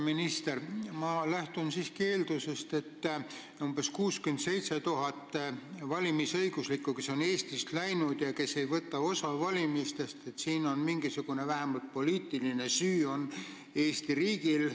Minister, ma lähtun siiski eeldusest, et selles, et Eestist on läinud umbes 67 000 valimisõiguslikku inimest, kes ei võta osa valimistest, on vähemalt mingisuguses poliitilises mõttes süüdi Eesti riik.